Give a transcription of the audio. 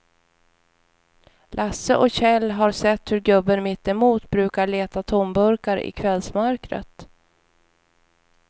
Lasse och Kjell har sett hur gubben mittemot brukar leta tomburkar i kvällsmörkret.